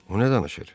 O nə danışır?